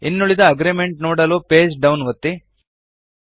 ಇನ್ನುಳಿದ ಅಗ್ರೀಮೆಂಟ್ ನೋಡಲು page down ಒತ್ತಿ